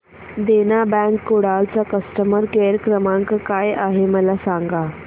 देना bank Kudal चा customer care क्रमांक काय आहे मला सांगा